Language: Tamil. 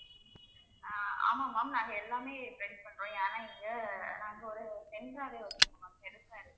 ஆஹ் ஆமா ma'am நாங்க எல்லாமே ready பண்றோம் ஏன்னா இங்க நாங்க